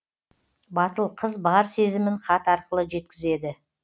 батыл қыз бар сезімін хат арқылы жеткізеді